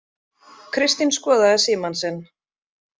Kristín skoðaði símann sinn.